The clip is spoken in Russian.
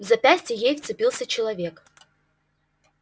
в запястье ей вцепился человек